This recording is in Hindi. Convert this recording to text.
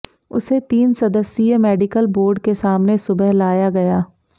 उसे तीन सदस्यीय मेडिकल बोर्ड के सामने सुबह लाया गया